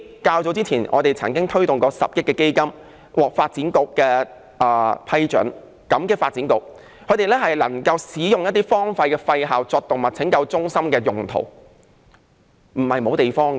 較早前，我們曾經推動10億元基金，獲發展局批准，感激發展局能夠批准使用一些荒廢校舍作為動物拯救中心，證明不是沒有地方。